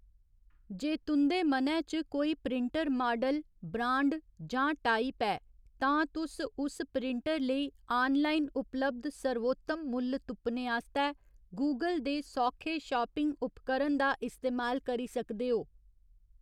जे तुं'दे मनै च कोई प्रिंटर माडल, ब्रांड जां टाइप ऐ, तां तुस उस प्रिंटर लेई आनलाइन उपलब्ध सर्वोत्तम मुल्ल तुप्पने आस्तै गूगल दे सौखे शापिंग उपकरण दा इस्तेमाल करी सकदे ओ।